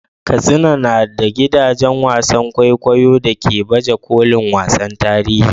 Katsina na da gidajen wasan kwaikwayo da ke baje kolin wasannin tarihi.